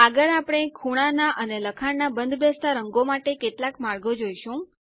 આગળ આપણે ખૂણા ના અને લખાણના બંધબેસતા રંગો માટે કેટલાક માર્ગો જોઈશું